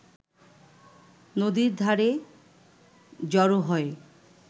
নদীর ধারে জড় হয়